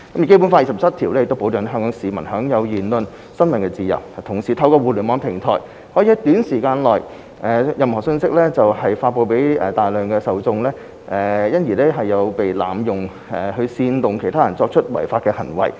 《基本法》第二十七條保障了香港居民享有言論和新聞自由，但同時透過互聯網平台可以在短時間內將任何信息發布給大量受眾，因而被濫用去煽動他人作出違法行為。